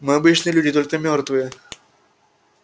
мы обычные люди только мёртвые